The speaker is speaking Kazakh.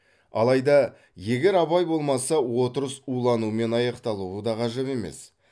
алайда егер абай болмаса отырыс уланумен аяқталуы да ғажап емес